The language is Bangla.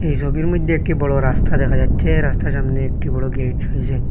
এই সবির মধ্যে একটি বড় রাস্তা দেখা যাচ্ছে রাস্তার সামনে একটি বড় গেট রয়েসে।